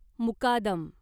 मुकादम